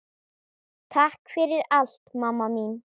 Takk fyrir allt, mamma mín.